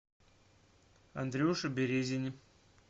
андрюше березине